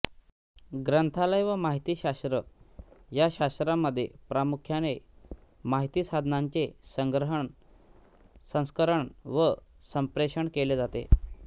ग्रंथालय व माहितीशास्त्र या शास्त्रामध्ये प्रामुख्याने माहिती साधनांचे संग्रहण संस्करण व संप्रेषण केले जाते